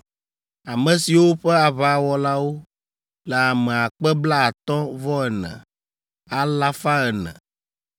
ame siwo ƒe aʋawɔlawo le ame akpe blaatɔ̃-vɔ-ene, alafa ene (54,400).